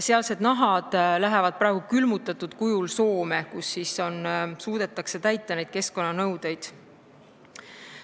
Sealsed nahad lähevad praegu külmutatud kujul Soome, kus suudetakse keskkonnanõudeid täita.